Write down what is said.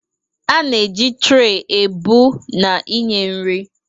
A na-eji trey ebu na inye nri.